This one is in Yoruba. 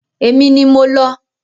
Èmi ni mo lọ.